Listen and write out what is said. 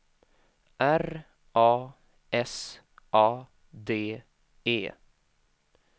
R A S A D E